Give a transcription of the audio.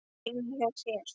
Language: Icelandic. Heima hjá þér?